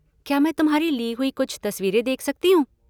क्या मैं तुम्हारी ली हुईं कुछ तसवीरें देख सकती हूँ?